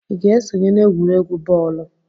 ị ga-esonye n'egwuregwu bọọlụ?